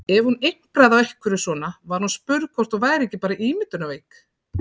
Ef hún impraði á einhverju svona var hún spurð hvort hún væri ekki bara ímyndunarveik.